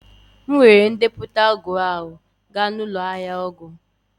M weere ndepụta ọgwụ ahụ gaa n'ụlọ ahịa ọgwụ